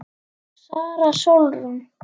Sara Sólrún.